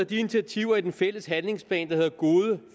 de initiativer i den fælles handlingsplan der hedder gode